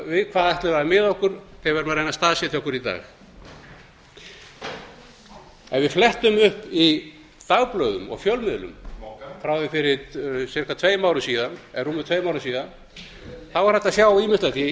við hvað ætlum við að miða okkur þegar við erum að reyna að staðsetja okkur í dag ef við flettum upp í dagblöðum og fjölmiðlum mogganum frá því fyrir ca tveim árum síðan eða rúmum tveim árum síðan þá er hægt að sjá ýmislegt eftir það efnahagshrun sem hér